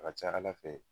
A ka ca ala fɛ